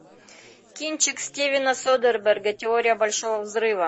кинчик стивена содерберга теория большого взрыва